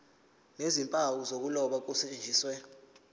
nezimpawu zokuloba kusetshenziswe